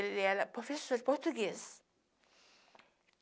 Ele era professor português.